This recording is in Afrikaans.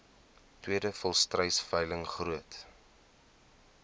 tweede volstruisveiling groot